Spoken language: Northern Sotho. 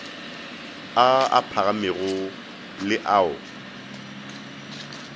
a a phagamego le ao